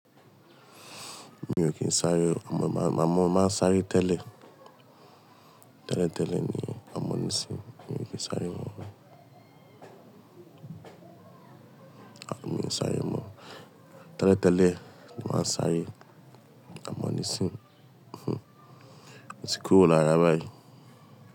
Mi ò kí ń sáré o, àmọ́ má má má sáré tẹ́lẹ̀. Tẹ́lẹ̀ tẹ́lẹ̀ ni a mọ nísìí. Mi ò kí ń sáré mọ́. A mi ń sáré mọ́. Tẹ́lẹ̀ tẹ́lẹ̀ mo maa ń sáré, a mọ nísìí. O ti kúrò lára báyìí.